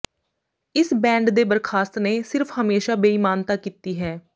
ਇਸ ਬੈਂਡ ਦੇ ਬਰਖਾਸਤ ਨੇ ਸਿਰਫ ਹਮੇਸ਼ਾ ਬੇਈਮਾਨਤਾ ਕੀਤੀ ਹੈ